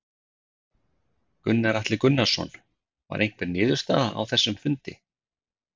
Gunnar Atli Gunnarsson: Var einhver niðurstaða á þessum fundi?